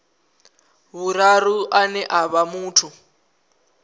vhuraru ane a vha muthu